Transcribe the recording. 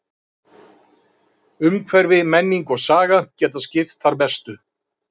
Umhverfi, menning og saga geta skipt þar mestu.